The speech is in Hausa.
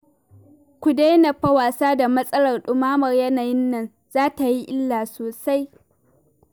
Ku daina fa wasa da matsalar ɗumamar yanayin nan, za ta yi illa sosai